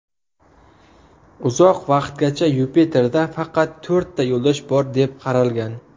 Uzoq vaqtgacha Yupiterda faqat to‘rtta yo‘ldosh bor deb qaralgan.